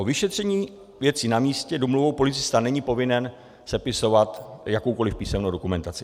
O vyšetření věci na místě domluvou policista není povinen sepisovat jakoukoli písemnou dokumentaci.